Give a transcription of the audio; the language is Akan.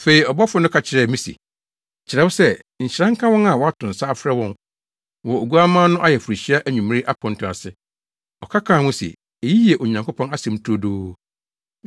Afei ɔbɔfo no ka kyerɛɛ me se, “Kyerɛw sɛ, Nhyira nka wɔn a wɔato nsa afrɛ wɔn wɔ Oguamma no ayeforohyia anwummere aponto ase.” Ɔka kaa ho se, “Eyi yɛ Onyankopɔn asɛm turodoo.”